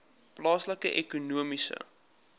plaaslike ekonomiese